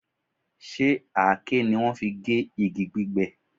Ṣe àáké ni wọ́n fi gé igi gbígbẹ?